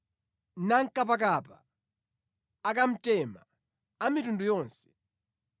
nankapakapa, akamtema a mitundu yonse,